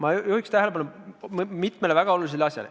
Aga ma juhiks tähelepanu mitmele väga olulisele asjale.